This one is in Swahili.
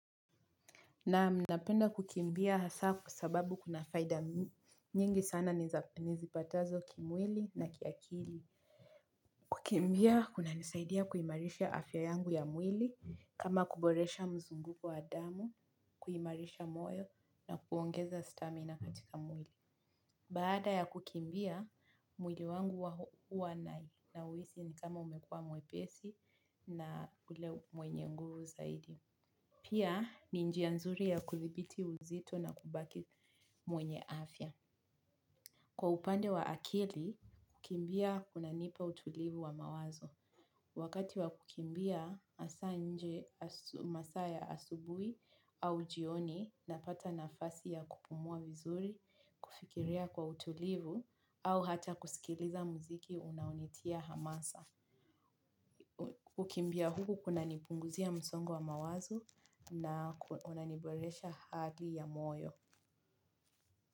Naam napenda kukimbia hasa kwa sababu kuna faida nyingi sana nizipatazo kimwili na kiakili. Kukimbia kuna nisaidia kuimarisha afya yangu ya mwili kama kuboresha mzunguko wa damu, kuimarisha moyo na kuongeza stamina katika mwili. Baada ya kukimbia mwili wangu huwa nauisi ni kama umekua mwepesi na ule mwenye nguvu zaidi. Pia ni njia nzuri ya kuthibiti uzito na kubaki mwenye afya. Kwa upande wa akili, kukimbia kuna nipa utulivu wa mawazo. Wakati wa kukimbia, asa nje masaa ya asubui au jioni na pata nafasi ya kupumua vizuri, kufikiria kwa utulivu au hata kusikiliza muziki unaunitia hamasa. Kukimbia huku kuna nipunguzia msongo wa mawazo na unaniboresha hadhi ya moyo.